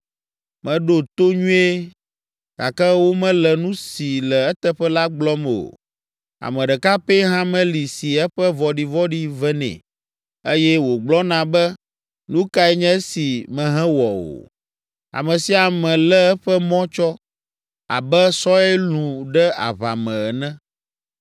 Meɖo to nyuie, gake womele nu si le eteƒe la gblɔm o. Ame ɖeka pɛ hã meli si eƒe vɔ̃ɖivɔ̃ɖi venɛ, eye wògblɔna be, “Nu kae nye esi mehewɔ o?” Ame sia ame lé eƒe mɔ tsɔ abe sɔe lũ ɖe aʋa me ene.